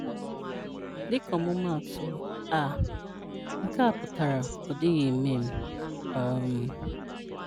Dịka ọmụmaatụ: “à” (nke a putara “Ọ dịghị eme m.”) um